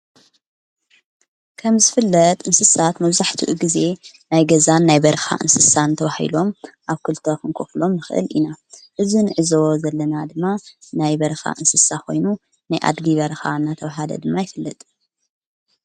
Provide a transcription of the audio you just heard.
ከም ዝፍለጥ እንስሳት መዙሕቲኡ ጊዜ ናይ ገዛን ናይ በርኻ እንስሳን ተውሂሎም ኣብ ኲልተ ኽንኰፍሎም ኽእል ኢና እዝንዕዞ ዘለና ድማ ናይ በርኻ እንስሳ ኾይኑ ናይኣድዲ በርኻ እና ተውሃለ ድማ ይፍለጥ።